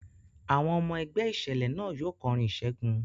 Àwọn ọmọ ẹgbẹ́ ìṣẹ̀lẹ̀ náà yóò kọrin ìṣẹ́gun.